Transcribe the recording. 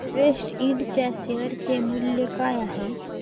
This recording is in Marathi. एव्हरेस्ट इंड च्या शेअर चे मूल्य काय आहे